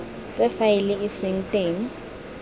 tse faele e seng teng